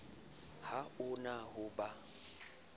ha o na ho ba